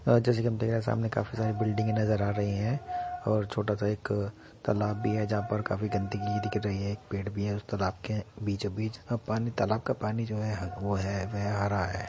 आ जैसे कि हम देख रहे हैं सामने काफी सारी बिल्डिंगे नज़र आ रही हैं और छोटा सा एक आ तालाब भी है जहां पर काफी सारी गंदगी दिख रही है। एक पेड़ भी है। उस तालाब के बीचो बीच अब पानी तालाब का पानी जो है वो है वह आ रहा है।